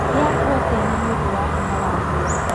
Rĩa proteini nĩũndũ wa hinya wa mwĩrĩ